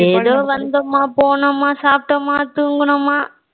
ஏதோ வந்தமா போனோமா சாப்பிட்டோமா தூங்கனமா